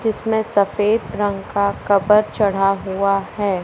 जिसमें सफेद रंग का कवर चढ़ा हुआ है।